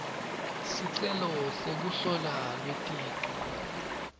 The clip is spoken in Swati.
sicelo sekuhlolwa kweticu